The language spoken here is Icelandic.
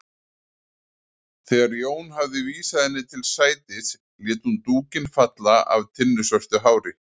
Þegar Jón hafði vísað henni til sætis lét hún dúkinn falla af tinnusvörtu hári.